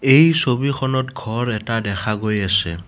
এই ছবিখনত ঘৰ এটা দেখা গৈ আছে।